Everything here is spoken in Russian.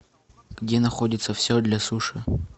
где находится все для суши